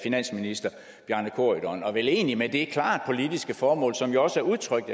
finansminister bjarne corydon og vel egentlig med det klare politiske formål som jo også er udtrykt